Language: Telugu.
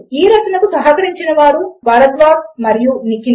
ఈ రచనకు సహకరించిన వారు భరద్వాజ్ మరియు నిఖిల